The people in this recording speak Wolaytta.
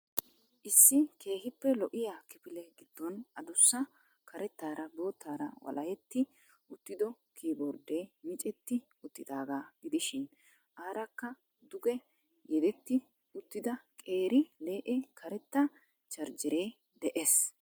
Issi keehiippe lo'iya kifile gidoon adussa karettaara bottaara walehetti uttido kiy bordee micceeti uttidaagaa gidishiin aarakka duge yedetti uttida qeeri le'e karetta charjeree dees.